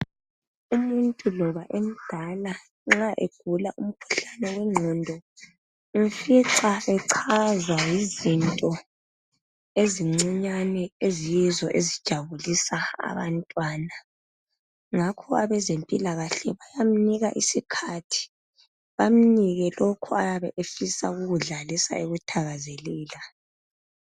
Umuntu loba emdala nxa egula umkhuhlane wengqondo umfica echaza izinto ezincinyane eziyizo ezijabulisa abantwana ngakho abezempilakahle bayamnika isikhathi bamnike lokho oyabe efisa ukukudlalisa ekuthakazelela.